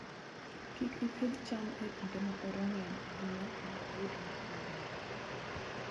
Kik iPidho cham e kinde ma oro ng'eny ahinya mondo iyud nyak maber